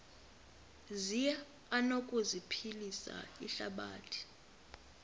zi anokuphilisa ihlabathi